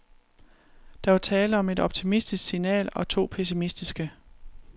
Der var tale om et optimistisk signal og to pessimistiske.